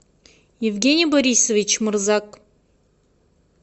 евгений борисович морзак